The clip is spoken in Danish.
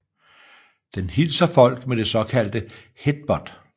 Den hilser folk med det såkaldte headbutt